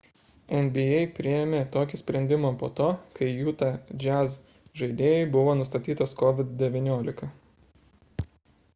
nba priėmė tokį sprendimą po to kai utah jazz žaidėjui buvo nustatytas covid-19